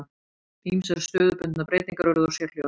Ýmsar stöðubundnar breytingar urðu á sérhljóðum.